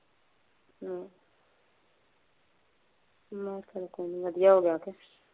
ਹੂ, ਮੈ ਕਿਹਾ ਚੱਲ ਕੋਈ ਨਹੀਂ ਵਧੀਆ ਹੋ ਗਿਆ।